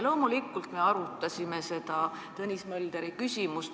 Loomulikult me arutasime seda Tõnis Möldri küsimust.